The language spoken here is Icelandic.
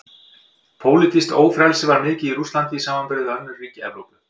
Pólitískt ófrelsi var mikið í Rússlandi í samanburði við önnur ríki Evrópu.